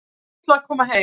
Var fúll að koma heim